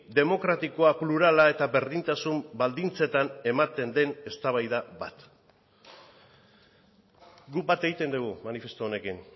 demokratikoa plurala eta berdintasun baldintzetan ematen den eztabaida bat guk bat egiten dugu manifestu honekin